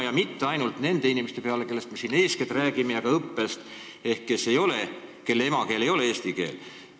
Ja ma ei mõtle ainult neid inimesi, kellest eeskätt jutt on olnud, kelle emakeel ei ole eesti keel.